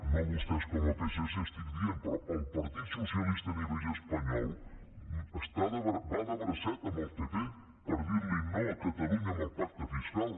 no vostès com a psc estic dient però el partit socialista a nivell espanyol va de bracet amb el pp per dir li no a catalunya en el pacte fiscal